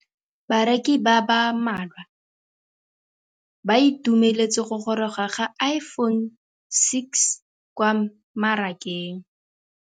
Bareki ba ba malwa ba ituemeletse go gôrôga ga Iphone6 kwa mmarakeng.